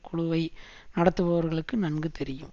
குழுவை நடத்துபவர்களுக்கு நன்கு தெரியும்